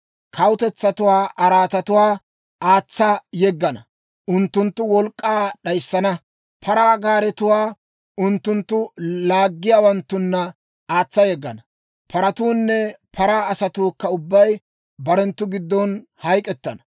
kawutetsatuwaa araatatuwaa aatsa yeggana; unttunttu wolk'k'aa d'ayissana. Paraa gaaretuwaa unttunttu laaggiyaawanttunna aatsa yeggana; paratuunne paraa asatuukka ubbay barenttu giddon hayk'k'ettana.